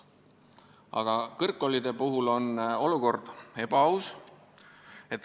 Aga kõrgkoolide puhul on olukord ebavõrdne.